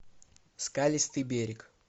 скалистый берег